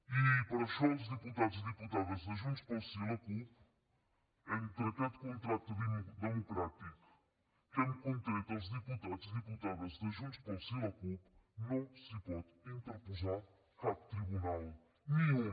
i per això els diputats i diputades de junts pel sí i la cup entre aquest contracte democràtic que hem contret els diputats i diputades de junts pel sí i la cup no s’hi pot interposar cap tribunal ni un